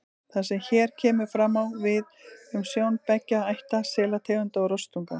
Það sem hér kemur fram, á við um sjón beggja ætta selategunda og rostunga.